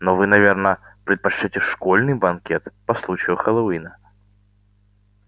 но вы наверное предпочтёте школьный банкет по случаю хэллоуина